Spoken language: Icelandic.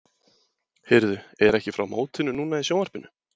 Heyrðu, er ekki frá mótinu núna í sjónvarpinu?